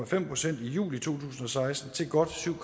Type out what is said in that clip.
fem procent i juli to tusind og seksten til godt syv